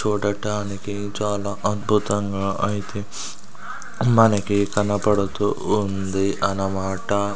చూడటానికి చాలా అద్భుతంగా అయితే అమ్మానికి కనబడుతూ ఉంది అన్నమాట.